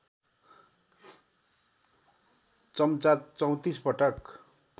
चम्चा ३४ पटक